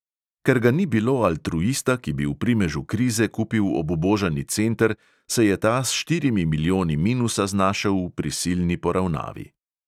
Ker ga ni bilo altruista, ki bi v primežu krize kupil obubožani center, se je ta s štirimi milijoni minusa znašel v prisilni poravnavi.